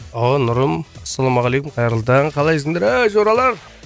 нұрым ассалаумағалейкум қайырлы таң қалайсыңдар ей жоралар